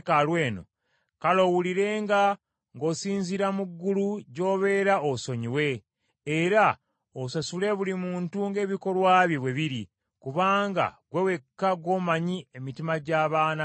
kale owulirenga ng’osinziira mu ggulu gy’obeera osonyiwe, era osasule buli muntu ng’ebikolwa bye bwe biri, kubanga ggwe wekka gw’omanyi emitima gy’abaana b’abantu;